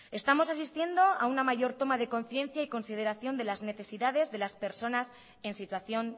estamos asistiendo a una mayor toma de conciencia y consideración de las necesidades de las personas en situación